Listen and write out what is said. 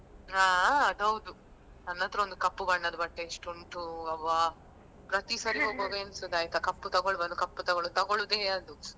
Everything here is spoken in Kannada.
ಹಾ ಅದ್ ಹೌದು ನನ್ನತ್ರ ಒಂದು ಕಪ್ಪು ಬಣ್ಣದ ಬಟ್ಟೆ ಎಷ್ಟು ಉಂಟು ಅಬಾ. ಪ್ರತಿ ಸಲ ಹೋಗುವಾಗ ಎಣ್ಸುದು ಆಯ್ತಾ ಕಪ್ಪು ತಗೋಳ್ಬಾರ್ದು ಕಪ್ಪು ತಗೋಳ್~ ಅಂತ ತಗೊಳುದೇ ಅದು.